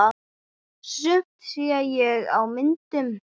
Sumt sé ég á myndum.